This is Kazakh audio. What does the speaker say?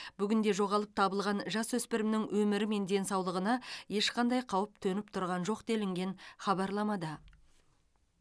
бүгінде жоғалып табылған жасөспірімнің өмірі мен денсаулығына ешқандай қауіп төніп тұрған жоқ делінген хабарламада